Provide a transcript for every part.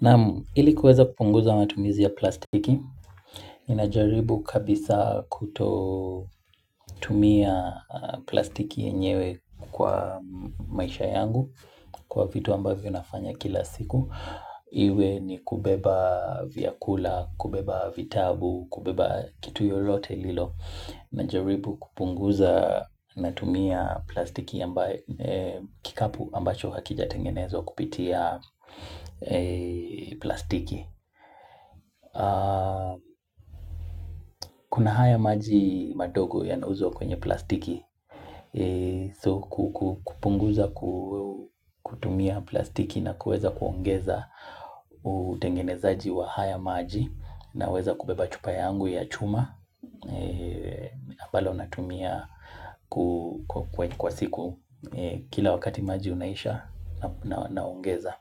Naam ili kuweza kupunguza matumizi ya plastiki, inajaribu kabisa kuto tumia plastiki yenyewe kwa maisha yangu kwa vitu ambavyo nafanya kila siku. Iwe ni kubeba vyakula, kubeba vitabu, kubeba kitu yoyote lilo na jaribu kupunguza na tumia plastiki kikapu ambacho hakija tengenezwa kupitia plastiki. Kuna haya maji madogo ya nauzwa kwenye plastiki. Kupunguza kutumia plastiki na kuweza kuongeza utengenezaji wa haya maji. Naweza kubeba chupa yangu ya chuma ambalo natumia kwa siku kila wakati maji unaisha naongeza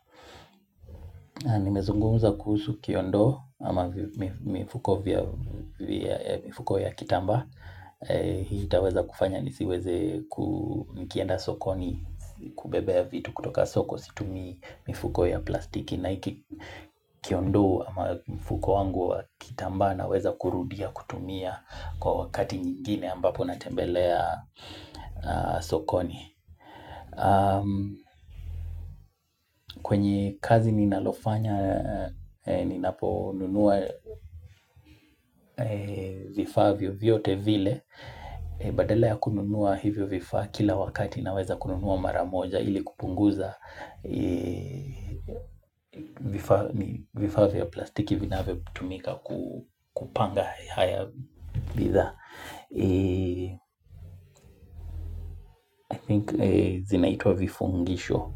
Nimezungumuza kuhusu kiondo ama mifuko ya kitamba Hii itaweza kufanya nisiweze kunikienda sokoni kubebea ya vitu kutoka soko Situmii mifuko ya plastiki Naiki kiondo ama mfuko wangu wa kitamba naweza kurudia kutumia kwa wakati nyingine ambapo natembelea sokoni kwenye kazi ninalofanya ninaponunua vifaa vyo vyote vile Badala ya kununua hivyo vifaa kila wakati naweza kununua maramoja ili kupunguza vifaa vya plastiki vinavyo tumika kupanga haya bidhaa I think zinaitwa vifungisho.